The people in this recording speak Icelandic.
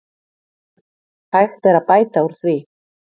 Hægt er að bæta úr því.